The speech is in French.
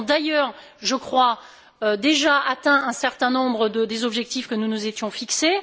Nous avons d'ailleurs, je crois, déjà atteint un certain nombre des objectifs que nous nous étions fixés.